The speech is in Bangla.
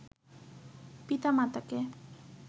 পিতা-মাতাকে